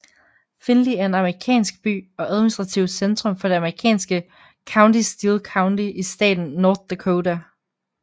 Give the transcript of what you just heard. Finley er en amerikansk by og administrativt centrum for det amerikanske county Steele County i staten North Dakota